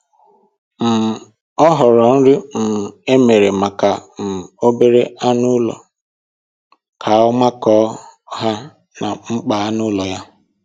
um O họọrọ nri um e mere maka um obere anụmanụ ka ọ makọọ nha na mkpa anụ ụlọ ya